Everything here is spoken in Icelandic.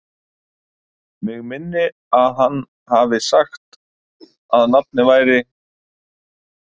Mig minnir að hann hafi sagt að nafnið væri